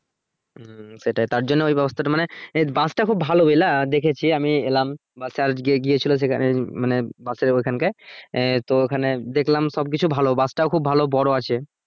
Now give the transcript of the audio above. হম সেটাই তার জন্য ওই ব্যবস্থাটা মানে এর bus তা খুব ভালো বুঝলা দেখেছি আমি এলাম church গিয়ে গিয়েছিলো সেখানে মানে bus এর ওইখান কে এ তো ওখানে দেখলাম সব কিছু ভালো bus টাও খুব ভালো বড়ো আছে